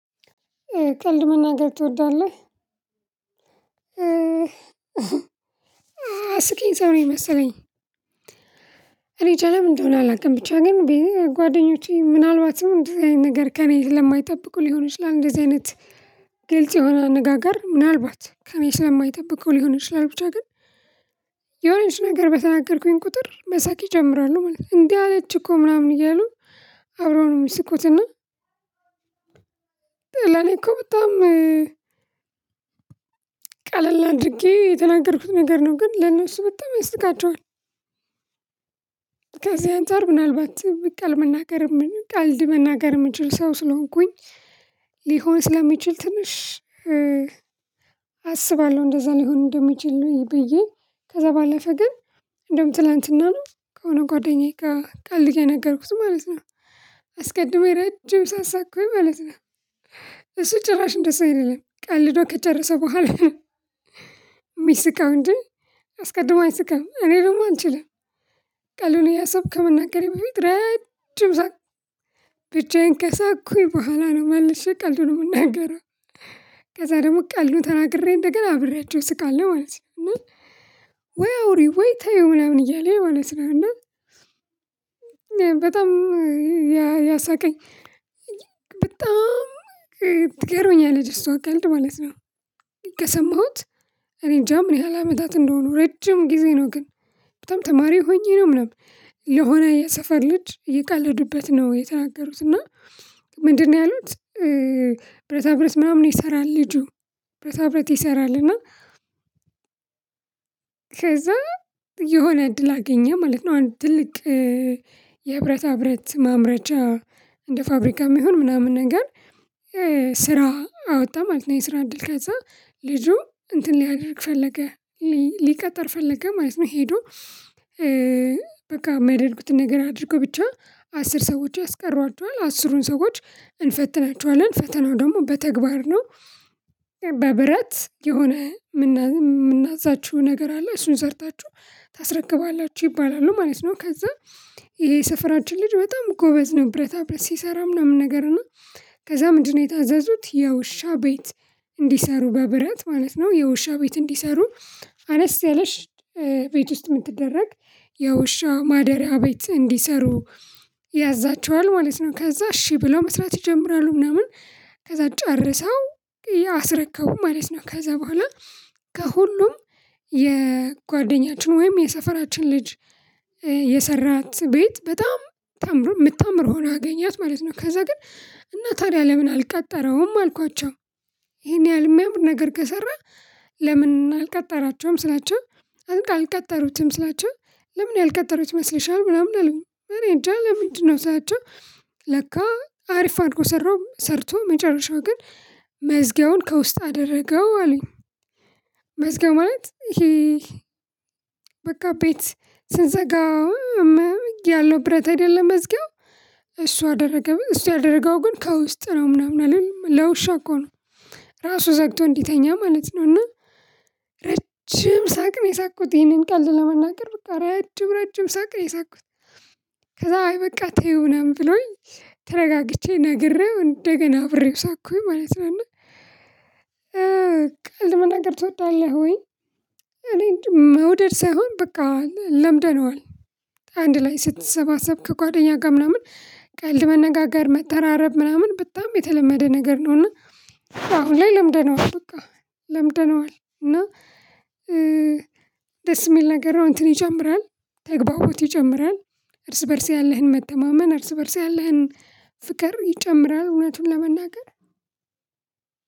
ቀልድ መናገር ትወዳለህ እስቂኝ ሰው ነኝ መሰለኝ። እኔ እንጃ ለምን እንደሆነ አላውቅም ብቻ እኔም ግን ጓደኞቼ ምናልባትም እንደዚህ አይነት ነገር ከእኔ ስለማይጠብቁ ሊሆን ይችላል። እንደዚህ አይነት ግልጽ የሆነ ንግግር ምናልባት ከኔ ለማይጠበቁ ሊሆን ይችላል ብቻ ግን የሆነች ነገር በተናገርኩኝ ቁጥር መሳቅ ይጀምራለሁ ማለት ነው። እንዲ አለች እኮ ምናምን እያሉ አብረው ነው የሚስቁትና። ለኔ እኮ በጣም ቀለል አድርጌ የተናገርኩት ነገር ነው ግን ለነሱ በጣም ያስቃቸዋል። ከዚህ አንፃር ምናልባት በቃ ቀልድ መናገር ቀልድ መናገር የምንችል ሰው ስለሆንኩኝ ሊሆን ስለሚችል ትንሽ አስባለሁ እንደዛ ሊሆን እንደሚችል ነው። ብዬ ከዛ ባለፈ ግን እንደውም ትላንትና ነው ከሆነ ጓደኛዬ ጋር ቀልድ እየነገርኩት ማለት ነው። አስቀድሞ የረጅም ሳቅ ሳኩኝ ማለት ነው። እሱ ጭራሽ እንደዛ አይደለም ቀልዶ ከጨረሰ በኋላ የሚስቀው እንዴ? አስቀድሞ አይስቀም እኔ ደግሞ አልችልም። ቀልዱን እያሰብከው ከመናገሬ በፊት ረድጅ ሰዓት ብቻዬን ከሳኩኝ በኋላ ነው መልሼ ቀልዱን የምናገረው። ከዛ ደግሞ ቀልዱን ተናግሬ እንደገና አብሬያቸው ስቃለው ማለት ነው። ወይ አውሪ ወይ ተይው ምናምን እያለ ማለት ነው። እና በጣም ያሳቀኝ በጣም ትገርመኛለች እሷ ቀልድ ማለት ነው። ከሰማሁት እኔ እንጃ ምን ያህል አመታት እንደሆኑ ረጅም ጊዜ ነው። ግን በጣም ተማሪ ሆኜ ነው ምናምን ለሆነ የሰፈር ልጅ እየቀለዱበት ነው የተናገሩት እና። ምንድነው ያሉት? ብረታ ብረት ምናምን ይሰራል ልጁ ብረታ ብረት ይሰራል እና። ከዛ የሆነ እድል አገኘ ማለት ነው። አንድ ትልቅ የብረታ ብረት ማምረቻ እንደ ፋብሪካም ይሁን ምናምን ነገር ስራ አወጣ ማለት ነው። የስራ እድል ከዛ ልጁ እንትን ሊያደርግ ፈለገ ሊቀጠር ፈለገ ማለት ነው። ሄዶ በቃ የሚያደርጉትን ነገር አድርጎ ብቻ አስር ሰዎች ያስቀሯቸዋል አስሩን ሰዎች እንፈትናቸዋለን ፈተናው ደግሞ በተግባር ነው። በብረት የሆነ የምናዛችሁ ነገር አለ እሱን ሰርታችሁ ታስረክባላችሁ ይባላሉ ማለት ነው። ከዛ ይሄ የሰፈራችን ልጅ በጣም ጎበዝ ነው ብረታ ብረት ሲሰራ ምናምን ነገር ነው። ከዛ ምንድነው የታዘዙት የውሻ ቤት እንዲሰሩ በብረት ማለት ነው። የውሻ ቤት እንዲሰሩ አነስ ያለች ቤት ውስጥ የምትደረግ የውሻ ማደሪያ ቤት እንዲሰሩ ያዛቸዋል ማለት ነው። ከዛ እሺ ብለው መስራት ይጀምራሉ ምናምን ከዛ ጨርሰው አስረከቡ ማለት ነው። ከዛ በኋላ ከሁሉም የጓደኛችን ወይም የሰፈራችን ልጅ የሰራት ቤት በጣም ምታምረው የምታምር ሆኖ አገኘት ማለት ነው። ከዛ ግን እና ታዲያ ለምን አልቀጠረውም አልኳቸው። ይሄን ያህል የሚያምር ነገር ከሰራ። ለምን አልቀጠራቸውም ስላቸው። አልቀጠሩትም ስላቸው። ለምን ያልቀጠሩት ይመስልሻል ምናምን አለኝ እኔ እንጃ ለምንድነው ስላቸው። ለካ አሪፍ አድርጎ ሰራው ሰርቶ መጨረሻው ግን መዝጊያውን ከውስጥ አደረገው አሉኝ። መዝጊያ ማለት ይሄ ቤት ስንዘጋ እያለሁ ብረት አይደለ መዝጊያው እሷ አደረገ እሱ ያደረገው ግን ከውስጥ ነው ምናምን አላለም ለውሻው እኮ ነው። ራሱ ዘግቶ እንዲተኛ ማለት ነው። እና ረጅም ሳቅ ነው የሳቁት ይሄንን ቀልድ ለመናገር በቃ ረጅም ረጅም ሳቀ የሳቁት። ከዛ አይበቃ ተይው ምናምን ብለውኝ ተረጋግቼ ነግሬው እንደገና አብሬው ሳኩኝ ማለት ነው። እና ቀልድ መናገር ትወዳለህ ወይ? እኔ አንጃ መውደድ ሳይሆን በቃ ለምደነዋል። አንድ ላይ ስትሰባሰብ ከጓደኛ ጋር ምናምን ቀልድ መነጋገር መተራረብ ምናምን በጣም የተለመደ ነገር ነውና። አሁን ላይ ለምደነዋል በቃ ለምደነዋል እና። ደስ የሚል ነገር ነው። እንትን ይጀምራል ተግባቦት ይጨምራል። እርስ በእርስ ያለህን መተማመን እርስ በእርስ ያለህን ፍቅር ይጨምራል። እውነቱን ለመናገር።